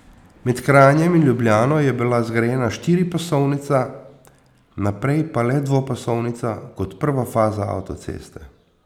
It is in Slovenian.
Med Kranjem in Ljubljano je bila zgrajena štiripasovnica, naprej pa le dvopasovnica kot prva faza avtoceste.